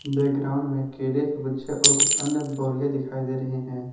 Background में केले के गुच्छे और कुछ अन्य बोरियां दिखाई दे रही हैं।